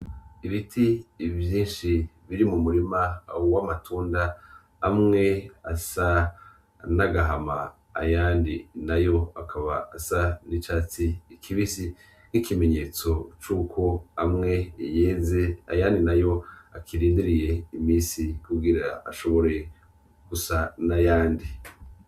Ibiti vyinshi biri mu murima w'amatunda amwe asa nagahama ayandi nayo akaba asa n'icatsi kibisi, nk'ikimenyetso c'uko amwe yeze ayandi nayo akirindiriye imisi kugira ashobore gusa nayandi.